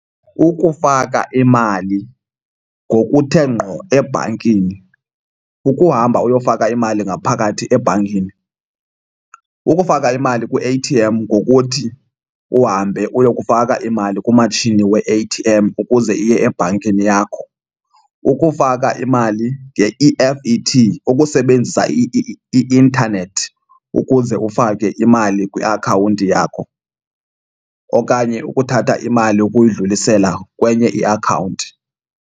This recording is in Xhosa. Ukufaka imali ngokuthe ngqo ebhankini kukuhamba uyofaka imali ngaphakathi ebhankini. Kukufaka imali kwi-A_T_M ngokuthi uhambe uyokufaka imali kumatshini we-A_T_M ukuze iye ebhankini yakho. Kukufaka imali nge-E_F_T, ukusebenzisa i-intanethi ukuze ufake imali kwiakhawunti yakho okanye ukuthatha imali ukuyidlulisela kwenye iakhawunti.